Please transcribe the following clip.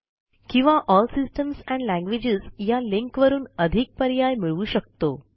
किंवा L systems and languages या लिंकवरून अधिक पर्याय मिळवू शकतो